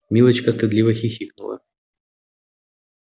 милочка стыдливо хихикнула